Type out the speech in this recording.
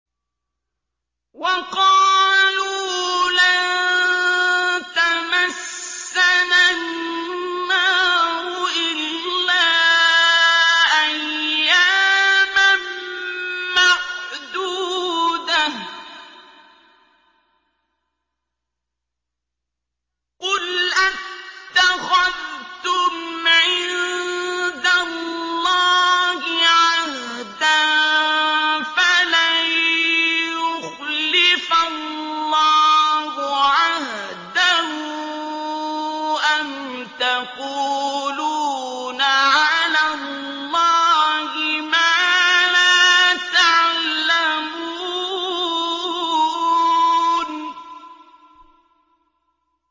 وَقَالُوا لَن تَمَسَّنَا النَّارُ إِلَّا أَيَّامًا مَّعْدُودَةً ۚ قُلْ أَتَّخَذْتُمْ عِندَ اللَّهِ عَهْدًا فَلَن يُخْلِفَ اللَّهُ عَهْدَهُ ۖ أَمْ تَقُولُونَ عَلَى اللَّهِ مَا لَا تَعْلَمُونَ